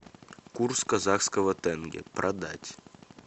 курс казахского тенге продать